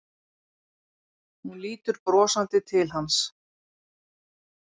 Hún lítur brosandi til hans.